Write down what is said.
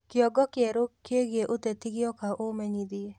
kĩongo kieru kĩĩgĩe uteti gioka umenyĩthĩe